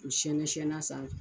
O siyɛnɛsiyɛn'a sanfɛ.